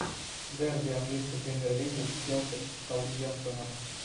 дерби английской премьер лиги челси с саутгемптоном